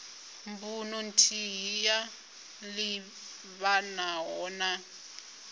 mbuno nthihi yo livhanaho na